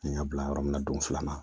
N y'a bila yɔrɔ min na don filanan